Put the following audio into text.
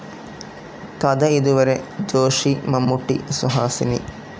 കഥ ഇതുവരെ ജോഷി മമ്മൂട്ടി, സുഹാസിനി